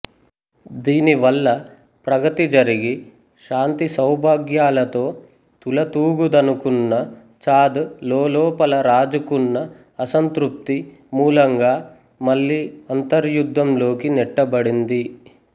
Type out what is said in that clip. దీనివల్ల ప్రగతి జరిగి శాంతి సౌభాగ్యాలతో తులతూగుదనుకున్న చాద్ లోలోపల రాజుకున్న అసంతృప్తి మూలంగా మళ్ళీ అంతర్యుద్ధంలోకి నెట్టబడింది